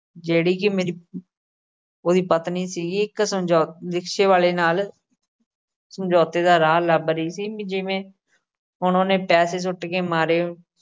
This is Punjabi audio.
ਜਿਹੜੀ ਕਿ ਮੇਰੀ ਉਹਦੀ ਪਤਨੀ ਸੀਗੀ। ਇੱਕ ਸਮਝੌ ਅਹ rickshaw ਵਾਲੇ ਨਾਲ ਸਮਝੌਤੇ ਦਾ ਰਾਹ ਲੱਭ ਰਹੀ ਸੀ, ਵੀ ਜਿਵੇਂ ਹੁਣ ਉਹਨੇ ਪੈਸੇ ਸੁੱਟ ਕੇ ਮਾਰੇ।